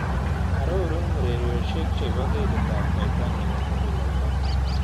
Arorun urieriosiek chebo katitap koyta ne po mukuulelto